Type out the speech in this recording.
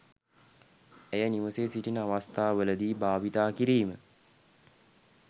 ඇය නිවසේ සිටින අවස්ථාවලදී භාවිතා කිරීම